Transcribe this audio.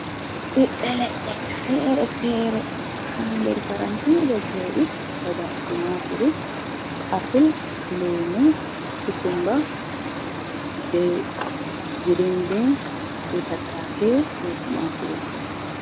Ɓiɓɓe leɗɗe fere-fere, ha nder paranti ɗo joɗi, daga tumaturu, apple, lemu, kukumba, be girin bin, be tatta she, be tumaturu.